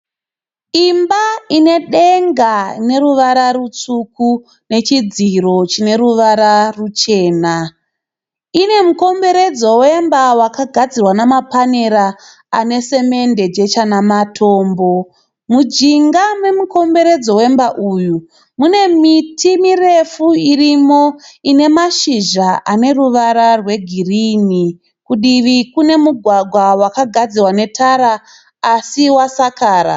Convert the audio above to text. Imba ine denga noruvara rutsvuku nechidziro chine ruvara ruchena. Ine mukomberedzo wemba wakagadzirwa namapanera ane semende, jecha namatombo. Mujinga momukomberedzo wemba uyu mune miti mirefu irimo ine mashizha anoruvara rwegirini. Kudivi kune mugwagwa wakagadzirwa netara asi wasakara.